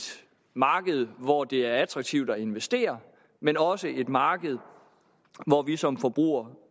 marked hvor det er attraktivt at investere men også et marked hvor vi som forbrugere